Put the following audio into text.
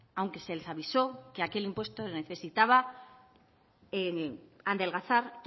aunque se les avisó que aquel impuesto necesitaba adelgazar